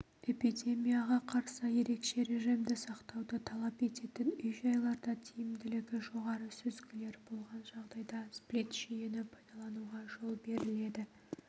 эпидемияға қарсы ерекше режимді сақтауды талап ететін үй-жайларда тиімділігі жоғары сүзгілер болған жағдайда сплит-жүйені пайдалануға жол беріледі